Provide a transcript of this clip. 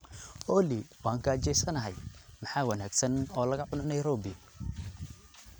Olly waan gaajaysanahay, maxaa wanaagsan in laga cuno Nairobi?